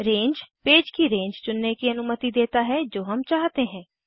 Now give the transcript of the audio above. रंगे page की range चुनने की अनुमति देता है जो हम चाहते हैं